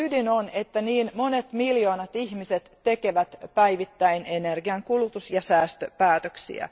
Ongelman ydin on, että niin monet miljoonat ihmiset tekevät päivittäin energiankulutus ja säästöpäätöksiä.